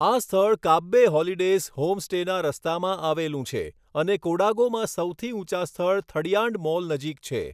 આ સ્થળ કાબબે હોલિડેઝ હોમસ્ટેના રસ્તામાં આવેલું છે અને કોડાગોમાં સૌથી ઊંચા સ્થળ થડિયાંડમોલ નજીક છે.